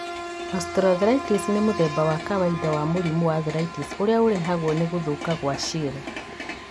Osteoarthritis nĩ mũtheba wa kawaida wa mũrimũ wa arthritis ũrĩa ũrehagwo nĩ gũthũka gwa ciĩga.